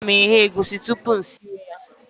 A na m eghe egwusi tupu m siwe ya